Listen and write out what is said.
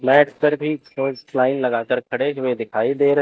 mat पर भी line लगा कर खड़े हुए दिखाई दे र--